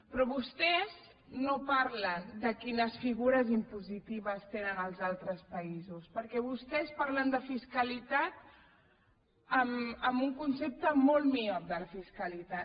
però vostès no parlen de quines figures impositives tenen els altres països perquè vostès parlen de fiscalitat amb un concepte molt miop de la fiscalitat